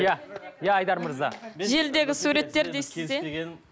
иә иә айдар мырза желідегі суреттер дейсіз де